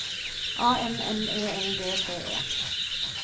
A N M E L D T E